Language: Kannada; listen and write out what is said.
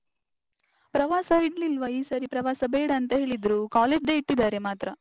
ಪ್ರವಾಸ ಇಡ್ಲಿಲ್ವಾ ಈ ಸರಿ ಪ್ರವಾಸ ಬೇಡ ಅಂತ ಹೇಳಿದ್ರು. college day ಇಟ್ಟಿದ್ದಾರೆ ಮಾತ್ರ.